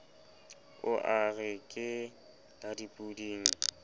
a re ke la dipoding